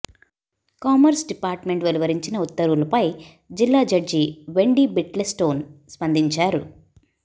commerce department వెలువరించిన ఉత్తర్వులపై జిల్లా జడ్జి వెండీ బీట్లెస్టోన్ స్పందించారు